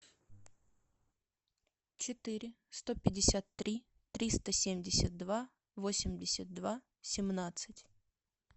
четыре сто пятьдесят три триста семьдесят два восемьдесят два семнадцать